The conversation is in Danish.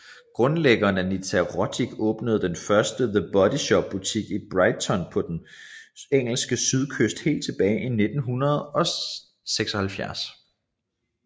Grundlæggeren Anita Roddick åbnede den første The Body Shop butik i Brighton på den engelske sydkyst helt tilbage i 1976